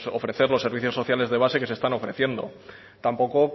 ofrecer los servicios sociales de base que se están ofreciendo tampoco